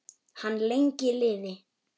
Hann lengi lifi.